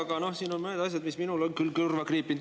Aga siin on mõned asjad, mis minul on küll kõrva kriipinud.